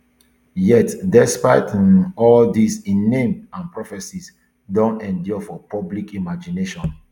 yet despite um all dis im name and prophecies don endure for public imagination